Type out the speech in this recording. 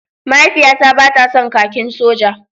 Mahaifiyata ba ta son kakin soja.